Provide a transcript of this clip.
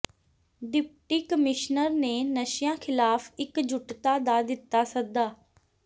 deputy commissioner ਨੇ ਨਸ਼ਿਆਂ ਖਿਲਾਫ਼ ਇਕਜੁੱਟਤਾ ਦਾ ਦਿੱਤਾ ਸੱਦਾ